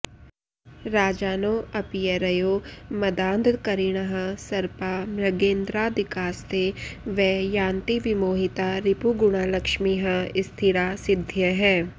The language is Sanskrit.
राजानोऽप्यरयो मदान्धकरिणः सर्पा मृगेन्द्रादिकास्ते वै यान्ति विमोहिता रिपुगणा लक्ष्मीः स्थिरा सिद्धयः